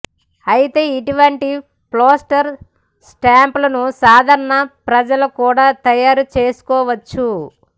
అయితే ఇటువంటి పోస్టల్ స్టాంప్లను సాధారణ ప్రజలు కూడా తయారు చేయించుకోవచ్చు